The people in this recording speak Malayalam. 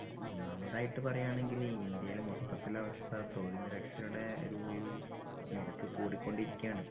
ഒന്നാമതായിട്ട് പറയുവാണെങ്കില് ഇന്ത്യയിലെ മൊത്തത്തിൽ അവസ്ഥ തൊഴിൽ നിരക്ഷരരുടെ ഒരു ഒരു നിരക്ക് കുടികൊണ്ടിരിക്കുവാന്.